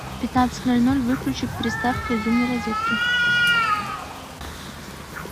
в пятнадцать ноль ноль выключи приставка из умной розетки